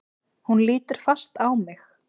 Hún lítur fast á mig.